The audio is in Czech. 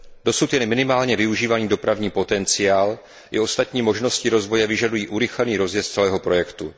Dosud jen minimálně využívaný dopravní potenciál i ostatní možnosti rozvoje vyžadují urychlený rozjezd celého projektu.